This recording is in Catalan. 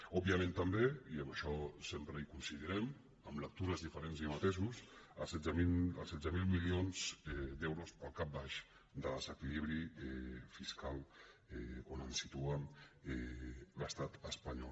òbviament també i en això sempre coincidirem amb lectures diferents i amb matisos els setze mil mili·ons d’euros pel cap baix de desequilibri fiscal on ens si·tua l’estat espanyol